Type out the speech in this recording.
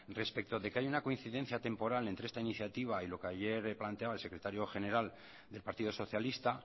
respecto de que hay una coincidencia temporal entre esta iniciativa y lo que ayer planteaba el secretario general del partido socialista